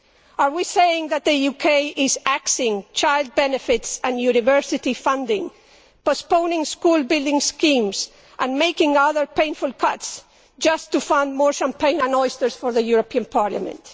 Are we saying that the UK is axing child benefits and university funding, postponing school building schemes and making other painful cuts just to fund more champagne and oysters for the European Parliament?